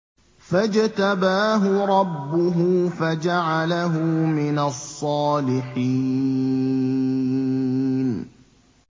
فَاجْتَبَاهُ رَبُّهُ فَجَعَلَهُ مِنَ الصَّالِحِينَ